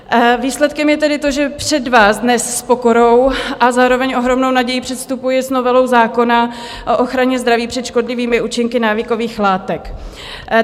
Výsledkem je tedy to, že před vás dnes s pokorou a zároveň ohromnou nadějí předstupuji s novelou zákona o ochraně zdraví před škodlivými účinky návykových látek.